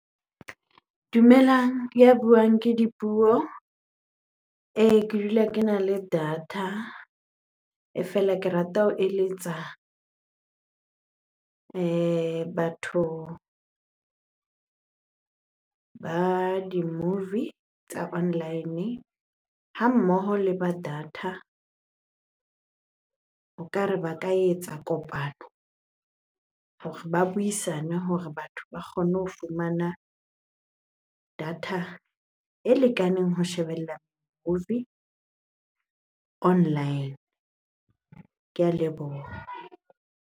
Dumelang, ya buang ke Dipuo. Ke dula kena le data. E fela ke rata ho eletsa batho ba di-movie tsa online ha mmoho le ba data. O kare ba ka etsa kopano hore ba buisane hore batho ba kgone ho fumana data e lekaneng ho shebella movie online. Ke a leboha.